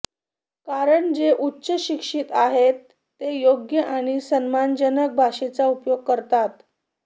कारण जे उच्च शिक्षित आहेत ते योग्य आणि सन्मानजनक भाषेचा उपयोग करतात